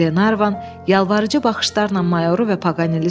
Glenarvan yalvarıcı baxışlarla mayoru və Paqaneli süzdü.